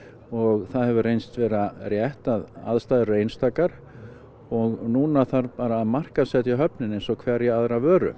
og það hefur reynst vera rétt að aðstæður eru einstakar og núna þarf bara að markaðssetja höfnina eins og hverja aðra vöru